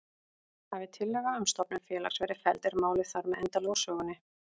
Hafi tillaga um stofnun félags verið felld er málið þar með endanlega úr sögunni.